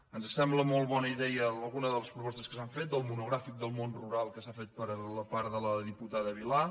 ens sembla molt bona idea algunes de les propostes que s’han fet del monogràfic del món rural que s’ha fet per part de la diputada vilà